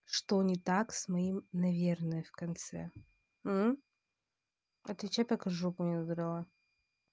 что не так с моим наверное в конце мм отвечай пока жопу не надрала